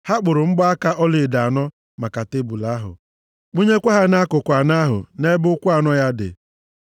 Ha kpụrụ mgbaaka ọlaedo anọ maka tebul ahụ; kwụnyekwa ha nʼakụkụ anọ ahụ nʼebe ụkwụ anọ ya dị.